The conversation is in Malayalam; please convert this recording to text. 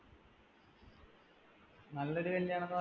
നല്ലൊരു കല്യാണം എന്നു പറഞ്ഞ